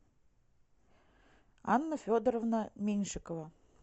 анна федоровна меньшикова